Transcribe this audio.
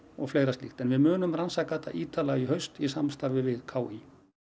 og fleira slíkt en við munum rannsaka þetta ítarlega í haust í samstarfi við k í